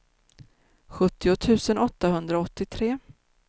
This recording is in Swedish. sjuttio tusen åttahundraåttiotre